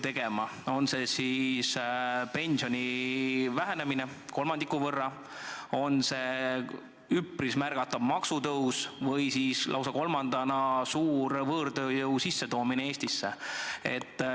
Need on pensioni vähendamine kolmandiku võrra, üpris märgatav maksutõus ja kolmandana lausa suur võõrtööjõu sissetoomine Eestisse.